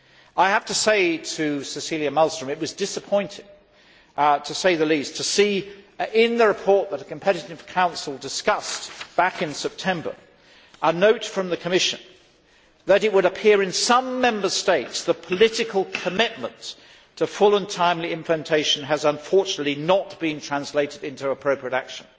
I have to say to Cecilia Malmström that it was disappointing, to say the least, to see in the report that a Competitiveness Council discussed back in September a note from the Commission that, it would appear, in some Member States the political commitment to full and timely implementation has unfortunately not been translated into appropriate action.